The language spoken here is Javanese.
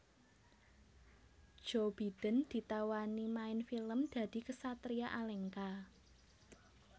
Joe Biden ditawani main film dadi ksatria Alengka